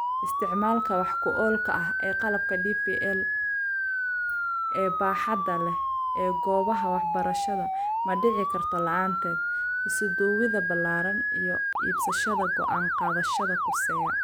Isticmaalka wax ku oolka ah ee qalabka DPL ee baaxadda leh ee goobaha waxbarashada ma dhici karto la'aanteed isuduwidda ballaaran iyo iibsashada go'aan-qaadayaasha khuseeya.